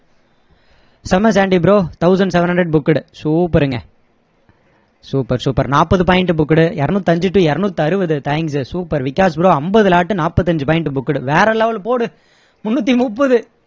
செம்ம சண்டி bro thousand seven hundred booked super ங்க super super நாற்பது point booked இருநூத்து அஞ்சு to இருநூத்து அறுவது thanks super விகாஷ் bro ஐம்பது lot நாற்பத்து அஞ்சு point booked வேற level போடு முன்னூத்தி மூப்பது